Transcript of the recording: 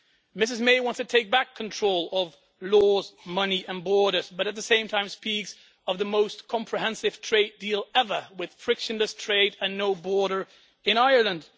Ms May wants to take back control of laws, money and borders, but at the same time, she speaks of the most comprehensive trade deal ever with frictionless trade and no border in Ireland.